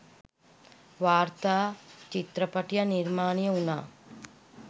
වාර්තා චිත්‍රපටයක් නිර්මාණය වුණා